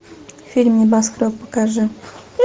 фильм небоскреб покажи